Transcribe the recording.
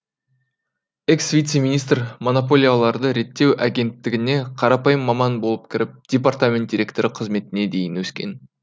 экс вице министр монополияларды реттеу агенттігіне қарапайым маман болып кіріп департамент директоры қызметіне дейін өскен